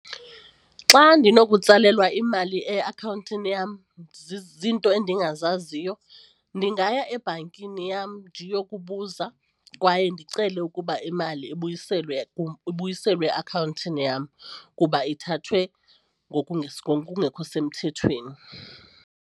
Xa ndinokutsalelwa imali eakhawuntini yam ziinto endingazaziyo ndingaya ebhankini yam ndiyokubuza kwaye ndicele ukuba imali ibuyiselwe ibuyiselwe eakhawuntini yam kuba ithathwe ngokungekho semthethweni.